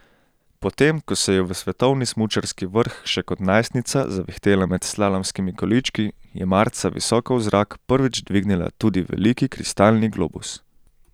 Potem ko se je v svetovni smučarski vrh še kot najstnica zavihtela med slalomskimi količki, je marca visoko v zrak prvič dvignila tudi veliki kristalni globus.